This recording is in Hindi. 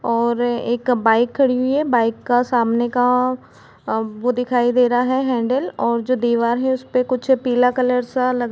--और एक बाइक खड़ी हुई है बाइक का सामने का वो दिखाई दे रहा हेंडल और जो दीवार है उसपे कुछ पीला कलर सा लग--